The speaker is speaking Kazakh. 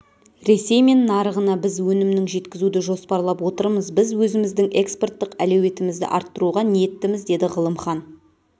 ресей мен нарығына біз өнімнің жеткізуді жоспарлап отырмыз біз өзіміздің экспорттық әлеуетімізді арттыруға ниеттіміз деді ғылымхан